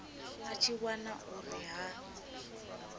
a tshi wana uri ha